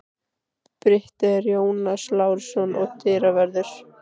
Bryti er Jónas Lárusson og dyravörður